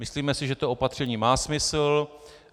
Myslíme si, že to opatření má smysl.